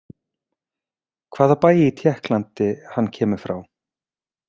Hvaða bæ í Tékklandi hann kemur frá?